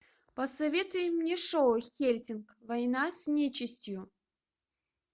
посоветуй мне шоу хельсинг война с нечистью